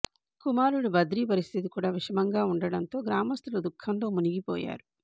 కుమారుడు బద్రి పరిస్థితి కూడా విషమంగా ఉండటంతో గ్రామస్థులు ధఃఖంలో మునిగిపోయారు